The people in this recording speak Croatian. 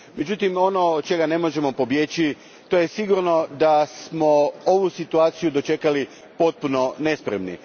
Međutim, ono od čega ne možemo pobjeći je to da smo ovu situaciju dočekali potpuno nespremni.